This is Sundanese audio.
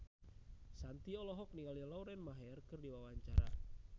Shanti olohok ningali Lauren Maher keur diwawancara